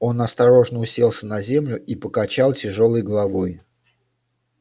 он осторожно уселся на землю и покачал тяжёлой головой